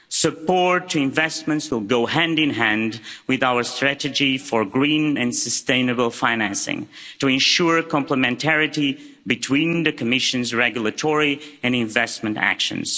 Support to investments will go hand in hand with our strategy for green and sustainable financing, to ensure complementarity between the Commission's regulatory and investment actions.